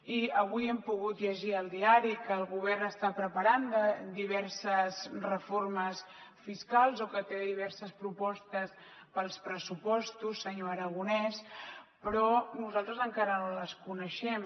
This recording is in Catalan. i avui hem pogut llegir al diari que el govern està preparant diverses reformes fiscals o que té diverses propostes per als pressupostos senyor aragonès però nosaltres encara no les coneixem